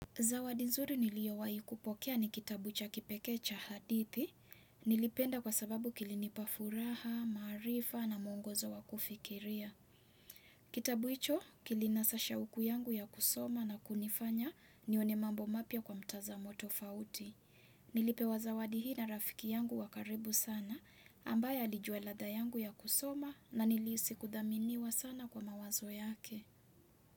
Zawadi zuri niliowai kupokea ni kitabu cha kipekee cha hadithi, nilipenda kwa sababu kilinipa furaha, maarifa na muongozo wa kufikiria. Kitabu hicho kilinasa shauku yangu ya kusoma na kunifanya nione mambo mapya kwa mtazamo tofauti. Nilipewa zawadi hii na rafiki yangu wa karibu sana ambaye alijua ladha yangu ya kusoma na nilihisi kuthaminiwa sana kwa mawazo yake.